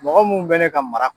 Mɔgɔ mun bɛ ne ka